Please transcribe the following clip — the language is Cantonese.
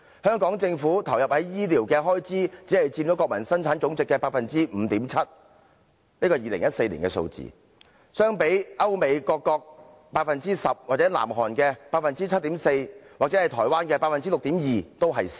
香港政府投放在醫療的開支只佔國民生產總值的 5.7%， 這是2014年的數字，較歐美各國的 10%、南韓的 7.4%， 以及台灣的 6.2% 為少。